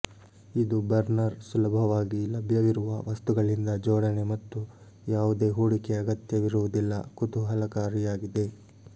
ಇದು ಬರ್ನರ್ ಸುಲಭವಾಗಿ ಲಭ್ಯವಿರುವ ವಸ್ತುಗಳಿಂದ ಜೋಡಣೆ ಮತ್ತು ಯಾವುದೇ ಹೂಡಿಕೆ ಅಗತ್ಯವಿರುವುದಿಲ್ಲ ಕುತೂಹಲಕಾರಿಯಾಗಿದೆ